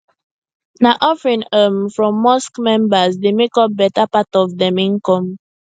na offering um from mosque members dey make up better part of dem income